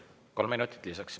Kolm minutit lisaks.